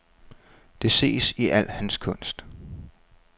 Det ses i al hans kunst.